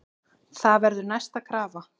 Það verður næsta krafa.